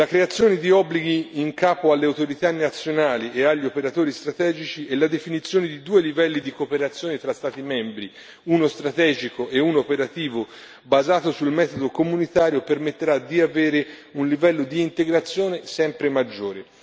La creazione di obblighi in capo alle autorità nazionali e agli operatori strategici e la definizione di due livelli di cooperazione tra Stati membri, uno strategico e uno operativo, basato sul metodo comunitario, permetterà di avere un livello di integrazione sempre maggiore.